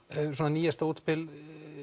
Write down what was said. nýjasta útspil